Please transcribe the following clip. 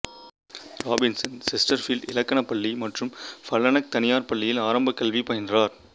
Robinson Chesterfield இலக்கணப் பள்ளி மற்றும் ஃபல்னெக் தனியார் பள்ளியில் ஆரம்ப கல்வி பயின்றார்